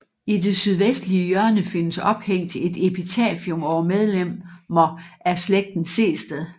I det sydvestlige hjørne findes ophængt et epitafium over medlemmer af slægten Sehested